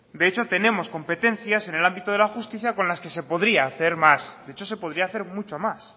de hecho tenemos competencias en el ámbito de la justicia con las que se podría hacer más de hecho se podría hacer mucho más